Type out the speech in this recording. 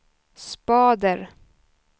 spader